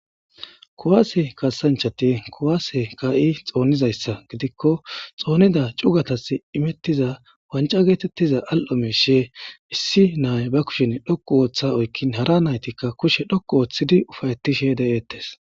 Kowaase kasanchati kowaase ka'i xoonizayssa gidikko xoonida cugatas imettiza wanca geetettiza al'o mishe issi naay ba kushen dhokku ooththa oykkin hara naytikka kushe dhokku ooththidi ufayetishe de'eettes.